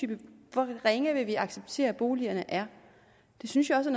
hvor ringe vil vi acceptere boligerne er det synes jeg også